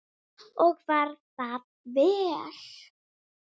Og var það vel.